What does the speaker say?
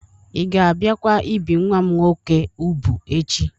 Ị ga-abịakwa ibi nwa m nwoke ubụ echi?